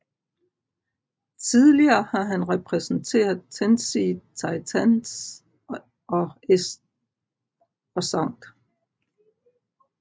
Tidligere har han repræsenteret Tennessee Titans og St